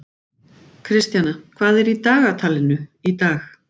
Kristjana, hvað er í dagatalinu í dag?